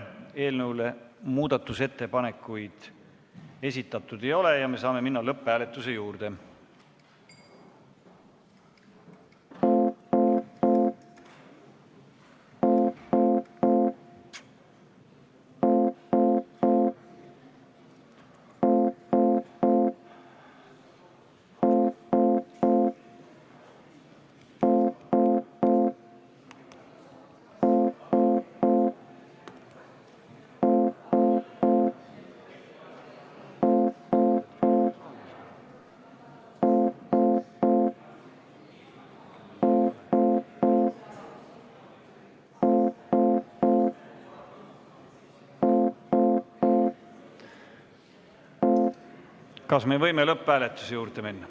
Eelnõule muudatusettepanekuid esitatud ei ole ja me saame minna lõpphääletuse juurde.